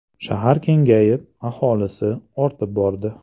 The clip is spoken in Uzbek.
Shahar kengayib, aholisi ortib bordi.